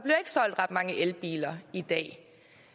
solgt ret mange elbiler i dag